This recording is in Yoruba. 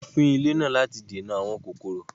wọ́n fín ilé náà láti dènà “ àwọn kòkòrò ”.